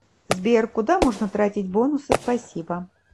сбер куда можно тратить бонусы спасибо